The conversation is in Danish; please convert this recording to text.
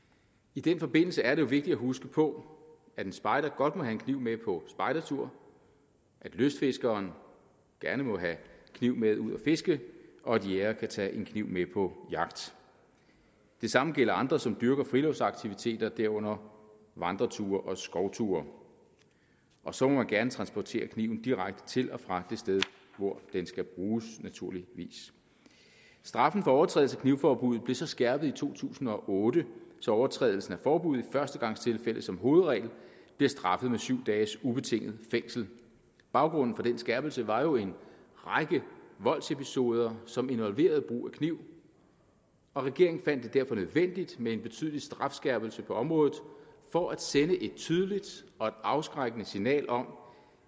i den forbindelse er det vigtigt at huske på at en spejder godt må have en kniv med på spejdertur at lystfiskeren gerne må have en kniv med ud at fiske og at jægere kan tage en kniv med på jagt det samme gælder andre som dyrker friluftsaktiviteter herunder vandreture og skovture og så må man gerne transportere kniven direkte til og fra det sted hvor den skal bruges naturligvis straffen for overtrædelse af knivforbuddet blev så skærpet i to tusind og otte så overtrædelsen af forbuddet i førstegangstilfælde som hovedregel bliver straffet med syv dages ubetinget fængsel baggrunden for den skærpelse var jo en række voldsepisoder som involverede brug af kniv og regeringen fandt det derfor nødvendigt med en betydelig strafskærpelse på området for at sende et tydeligt og et afskrækkende signal om